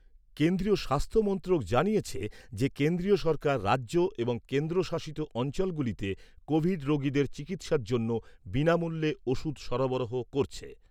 কেন্দ্রীয় স্বাস্থ্য মন্ত্রক জানিয়েছে যে, কেন্দ্রীয় সরকার রাজ্য এবং কেন্দ্রশাসিত অঞ্চলগুলিতে কোভিড রোগীদের চিকিৎসার জন্য বিনামূল্যে ওষুধ সরবরাহ করছে।